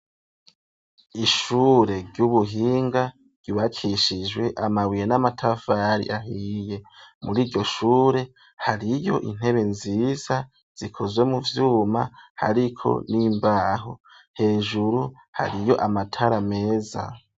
Ishure ry'ubuhinga, ryubakishijwe amabuye, n'amatafari ahiye; muri iryo shure, hariyo intebe nziza, zikozwe mu vyuma, hariko n'imbaho; hejuru hariyo amatara meza.